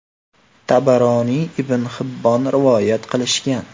Tabaroniy va ibn Hibbon rivoyat qilishgan.